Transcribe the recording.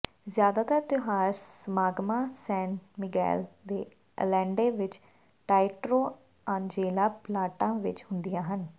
ਜ਼ਿਆਦਾਤਰ ਤਿਉਹਾਰ ਸਮਾਗਮਾਂ ਸੈਨ ਮਿਗੈਲ ਦੇ ਅਲੇਂਡੇ ਵਿਚ ਟਾਇਟਰੋ ਆਂਜੇਲਾ ਪਰਲਾਟਾ ਵਿਚ ਹੁੰਦੀਆਂ ਹਨ